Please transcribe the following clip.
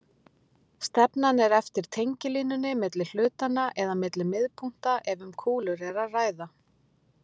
Stefnan er eftir tengilínunni milli hlutanna eða milli miðpunkta ef um kúlur er að ræða.